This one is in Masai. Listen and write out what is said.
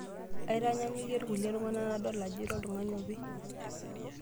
Aitanyanyukie irkulie tung'anak natum ajo ira oltung'ani opi .